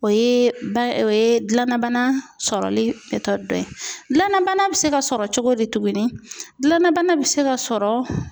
O ye ba o ye dilannabana sɔrɔli dɔ ye. Dilannabana bɛ se ka sɔrɔ cogo di tugunni? Dilannabana bɛ se ka sɔrɔ